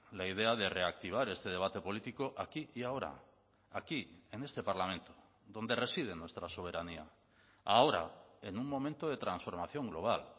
la idea de reactivar este debate político aquí y ahora aquí en este parlamento donde reside nuestra soberanía ahora en un momento de transformación global